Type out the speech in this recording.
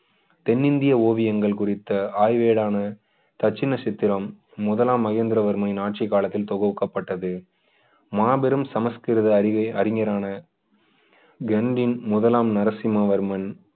தென்னிந்திய ஓவியங்கள் குறித்த ஆய்வேடான தட்சிண சித்திரம் முதலாம் மகேந்திரவர்மனின் ஆட்சி காலத்தில் தொகுக்கப்பட்டது மாபெரும் சமஸ்கிருத அறிவை அறிஞரான கெண்டின் முதலாம் நரசிம்மவர்மன்